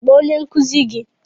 kpọọ onye nkụzi gi!